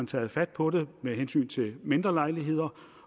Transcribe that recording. taget fat på det med hensyn til mindre lejligheder